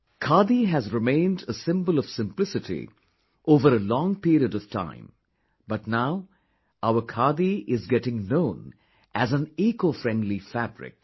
Khadi has remained a symbol of simplicity over a long period of time but now our khadi is getting known as an eco friendly fabric